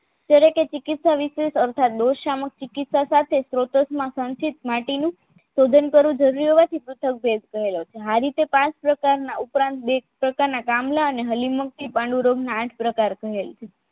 તે રીતે ચિકિત્સા વિશેષ અર્થાત દોષ સામક્ષ ચિકિત્સા સાથે સ્ત્રોતકમાં સંક્ષેપ માટીનું સર્જન કરવું જરૂરી હોવાથી આ રીતે પાંચ પ્રકારના ઉપરાંત બે પ્રકારના કામલા અને હલીમ્રુતી પાંડુ રોગના આઠ પ્રકાર કહેવાય છે